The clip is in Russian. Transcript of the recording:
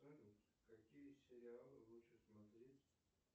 салют какие сериалы лучше смотреть